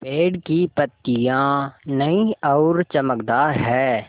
पेड़ की पतियां नई और चमकदार हैँ